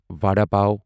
vada pav